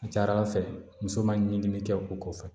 A ka ca ala fɛ muso ma ɲimi kɛ o kɔfɛ